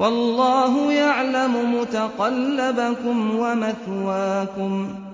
وَاللَّهُ يَعْلَمُ مُتَقَلَّبَكُمْ وَمَثْوَاكُمْ